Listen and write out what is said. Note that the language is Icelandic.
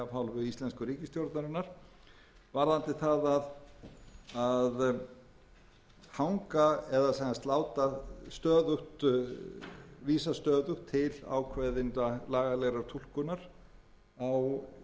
hálfu íslensku ríkisstjórnarinnar varðandi það að hanga eða sem sagt láta stöðugt vísa stöðugt til ákveðinnar lagalegrar túlkunar á innistæðutrygigngum miðað við